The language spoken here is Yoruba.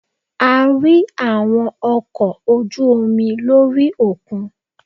A rí àwọn ọkò ojú omi lórí òkun